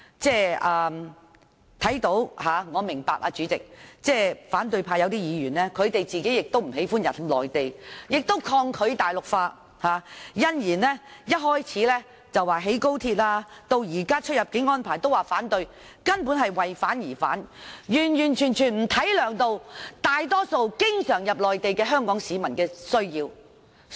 主席，我明白有些反對派議員不喜歡到內地，亦抗拒大陸化，因而反對興建高鐵及現在提出的出入境安排，但他們根本是"為反而反"，沒有顧及經常前往內地的大多數香港市民的需要。